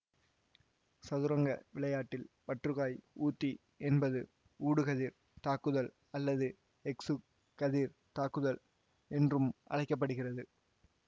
சதுரங்க விளையாட்டில் பற்றுக்காய் ஊத்தி என்பது ஊடுகதிர் தாக்குதல் அல்லது எக்சு கதிர் தாக்குதல் என்றும் அழைக்க படுகிறது